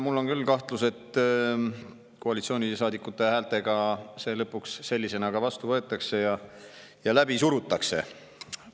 Mul on küll kahtlus, et koalitsioonisaadikute häältega see lõpuks sellisena ka vastu võetakse ja läbi surutakse.